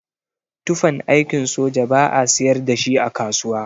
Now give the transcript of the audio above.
Tufan aikin soja ba'a siyar dashi a kasuwa.